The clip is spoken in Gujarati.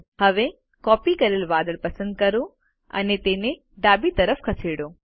હવે કોપી કરેલ વાદળ પસંદ કરો અને તેને ડાબી તરફ ખસેડો